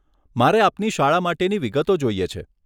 મારે આપની શાળા માટેની વિગતો જોઈએ છે.